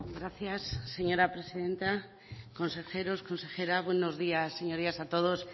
gracias señora presidenta consejeros consejera buenos días señorías a todos